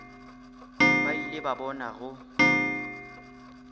ba ile ba bona go